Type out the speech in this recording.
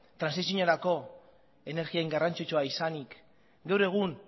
trantsiziorako energia hain garrantzitsua izanik gaur egun